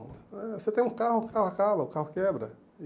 Eh Você tem um carro, o carro acaba, o carro quebra.